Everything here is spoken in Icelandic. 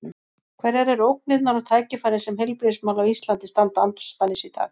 Hverjar eru ógnirnar og tækifærin sem heilbrigðismál á Íslandi standa andspænis í dag?